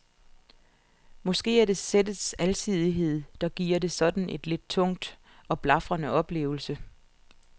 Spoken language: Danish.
Måske er det sættets alsidighed, der giver det sådan en lidt tung og blafrende oplevelse.